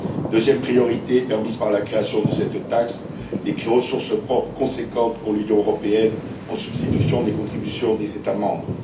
Deuxième priorité permise par la création de cette taxe des ressources propres conséquentes pour l'Union européenne en substitution des contributions des États membres.